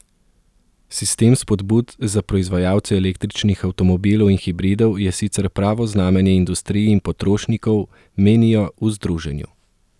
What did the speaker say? Sistem spodbud za proizvajalce električnih avtomobilov in hibridov je sicer pravo znamenje industriji in potrošnikom, menijo v združenju.